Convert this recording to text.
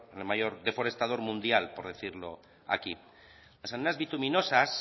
el mayor deforestador mundial por decirlo aquí las arenas bituminosas